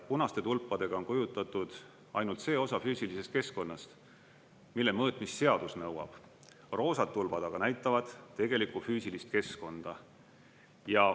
Punaste tulpadega on kujutatud ainult see osa füüsilisest keskkonnast, mille mõõtmist seadus nõuab, roosad tulbad aga näitavad tegelikku füüsilist keskkonda.